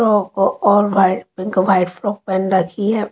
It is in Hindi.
और व्हाइट पिंक व्हाइट फ्रॉक पहन रखी है ।